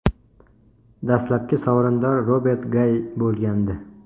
Dastlabki sovrindor Robert Gay bo‘lgandi.